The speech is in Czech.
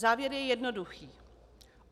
Závěr je jednoduchý.